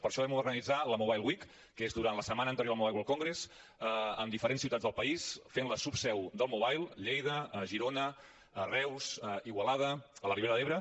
per això vam organitzar la mobile week que és durant la setmana anterior al mobile world congress amb diferents ciutats del país fent de subseu del mobile a lleida a girona a reus a igualada a la ribera d’ebre